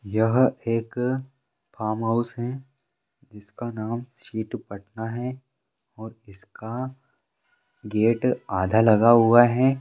यह एक फार्महाउस है जिसका नाम सी टू पटना है और इसका गेट आधा लगा हुआ है।